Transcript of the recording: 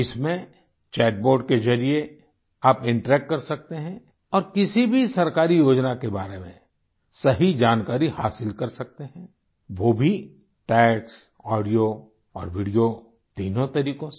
इसमें chat bot के जरिए आप इंटरैक्ट कर सकते हैं और किसी भी सरकारी योजना के बारे में सही जानकारी हासिल कर सकते हैं वो भी टेक्स्ट ऑडियो और वीडियो तीनों तरीकों से